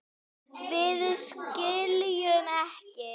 Við skiljum ekki.